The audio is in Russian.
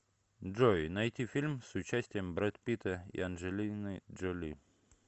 джой найти фильм с участием брэд питта и анджелины джоли